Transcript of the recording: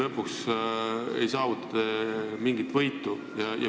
Lõpuks ei saavuta te sellega mingit võitu.